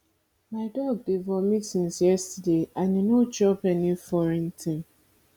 my dog dey vomit since yesterday and e no chop any foreign thing